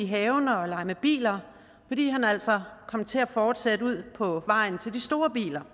haven og lege med biler fordi han altså kom til at fortsætte ud på vejen til de store biler